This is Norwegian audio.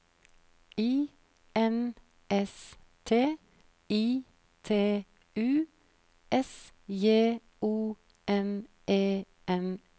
I N S T I T U S J O N E N E